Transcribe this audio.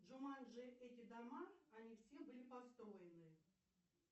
джуманджи эти дома они все были построены